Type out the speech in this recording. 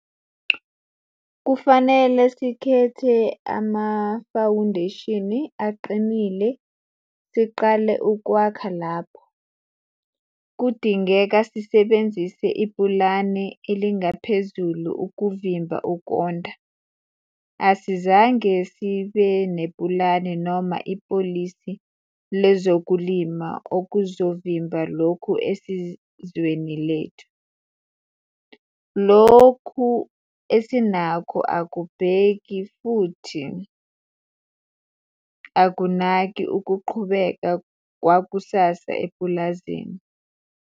Kufanele sikhethe amafawundesheni aqinile siqale ukwakha lapho. Kudingeka sisebenzise ipulani elingaphezulu ukuvimba ukonda. Asizange sibenepulani noma ipolisi lezokulima okuzovimba lokhu esizweni lethu. Lokhu esinakho akubheki ukunganaki futhi akubheki ukuqhubeka kwakusasa emapulazini.